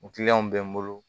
bɛ n bolo